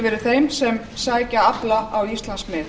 verið þeim sem sækja afla á íslandsmið